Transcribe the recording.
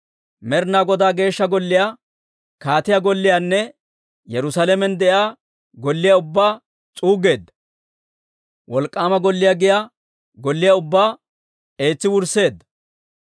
Med'ina Godaa Geeshsha Golliyaa, kaatiyaa golliyaanne Yerusaalamen de'iyaa golliyaa ubbaa s'uuggeedda; wolk'k'aama golliyaa giyaa golliyaa ubbaa eetsi wursseedda.